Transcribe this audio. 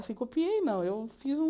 Assim, copiei não, eu fiz um...